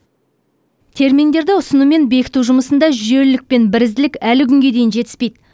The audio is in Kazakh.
терминдерді ұсыну мен бекіту жұмысында жүйелілік пен бірізділік әлі күнге дейін жетіспейді